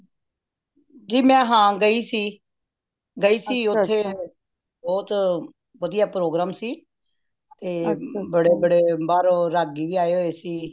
ਕਿ ਮੈਂ ਹਾਂ ਗਯੀ ਸੀ ਗਯੀ ਸੀ ਉਥੇ ਬਹੁਤ ਵਧੀਆ program ਸੀ ਤੇ ਬੜੇ ਬੜੇ ਬਾਹਰੋਂ ਰਾਗੀ ਵੀ ਆਏ ਦੇ ਸੀ